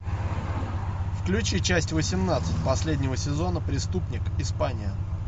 включи часть восемнадцать последнего сезона преступник испания